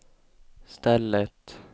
stället